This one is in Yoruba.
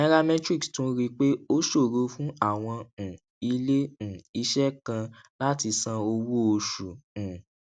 nairametrics tún rí i pé ó ṣòro fún àwọn um ilé um iṣẹ kan láti san owó oṣù um